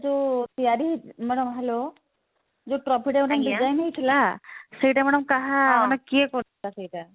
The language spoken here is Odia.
ଯଉ ତିଆରି ମାନେ hello ଯଉ trophy ଟା design ହେଇଥିଲା ସେଇଟା madam କାହା ମାନେ କିଏ କରିଥିଲା ସେଇଟା